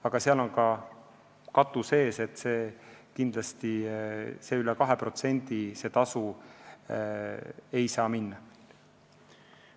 Aga seal on ka katus ees, üle 2% see tasu ei saa kindlasti minna.